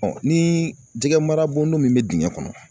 ni jɛgɛmara bondon min bɛ dingɛ kɔnɔ